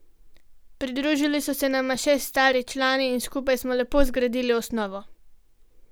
Pridružili so se nama še stari člani in skupaj smo lepo zgradili osnovo.